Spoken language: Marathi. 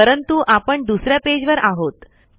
परंतु आपण दुसऱ्या पेज वर आहोत